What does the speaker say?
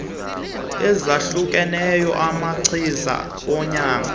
ezahlukeneyo zamachiza onyango